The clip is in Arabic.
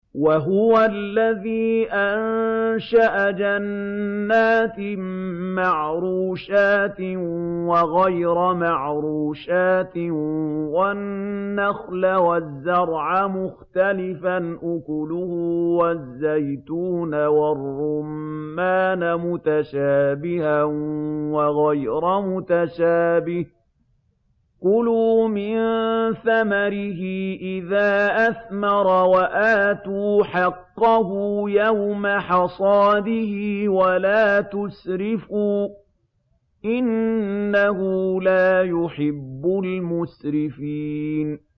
۞ وَهُوَ الَّذِي أَنشَأَ جَنَّاتٍ مَّعْرُوشَاتٍ وَغَيْرَ مَعْرُوشَاتٍ وَالنَّخْلَ وَالزَّرْعَ مُخْتَلِفًا أُكُلُهُ وَالزَّيْتُونَ وَالرُّمَّانَ مُتَشَابِهًا وَغَيْرَ مُتَشَابِهٍ ۚ كُلُوا مِن ثَمَرِهِ إِذَا أَثْمَرَ وَآتُوا حَقَّهُ يَوْمَ حَصَادِهِ ۖ وَلَا تُسْرِفُوا ۚ إِنَّهُ لَا يُحِبُّ الْمُسْرِفِينَ